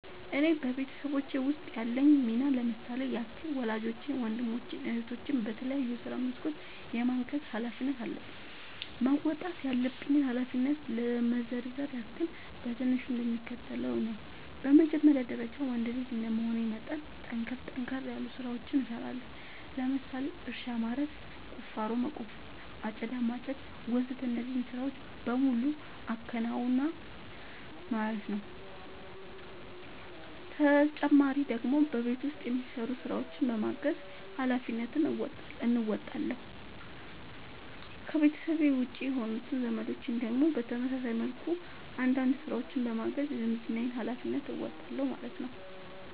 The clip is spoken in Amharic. እኔ በቤተሰቦቼ ውስጥ ያለኝ ሚና ለምሳሌ ያክል ወላጆቼን ወንድሞቼን እህቶቼን በተለያዩ የስራ መስኮች የማገዝ ኃላፊነት አለብኝ። መወጣት ያለብኝን ኃላፊነት ለመዘርዘር ያክል በትንሹ እንደሚከተለው ነው በመጀመሪያ ደረጃ ወንድ ልጅ እንደመሆኔ መጠን ጠንከር ጠንከር ያሉ ስራዎችን እሰራለሁ ለምሳሌ እርሻ ማረስ፣ ቁፋሮ መቆፈር፣ አጨዳ ማጨድ ወዘተ እነዚህን ስራዎች በሙሉ አከናውናል ማለት ነው ተጨማሪ ደግሞ በቤት ውስጥ የሚሰሩ ስራዎችን በማገዝ ሃላፊነትን እንወጣለሁ። ከቤተሰቤ ውጪ የሆኑት ዘመዶቼን ደግሞ በተመሳሳይ መልኩ አንዳንድ ስራዎችን በማገዝ የዝምድናዬን ሀላፊነት እወጣለሁ ማለት ነው